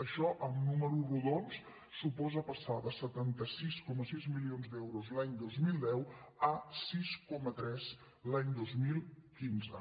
això en números rodons suposa passar de setanta sis coma sis milions d’euros l’any dos mil deu a sis coma tres l’any dos mil quinze